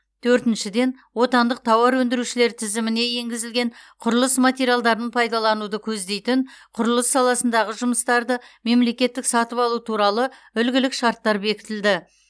төртіншіден отандық тауар өндірушілер тізіміне енгізілген құрылыс материалдарын пайдалануды көздейтін құрылыс саласындағы жұмыстарды мемлекеттік сатып алу туралы үлгілік шарттар бекітілді